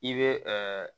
I bɛ